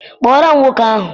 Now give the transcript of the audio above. Kpọọrọ m nwoke ahụ!